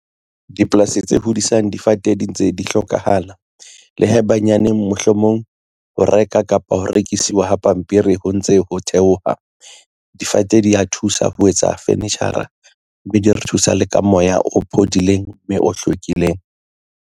Dipolasi tse hodisang difate di ntse di hlokahala le haebanyaneng, mohlomong ho reka kapa ho rekisiwa ho pampiri ho ntse ho theoha, difate di a thusa ho etsa furniture-ra, mme di re thusa le ka moya o phodileng, mme o hlwekileng.